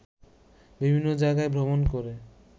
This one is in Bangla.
বিভিন্ন জায়গায় ভ্রমণ করে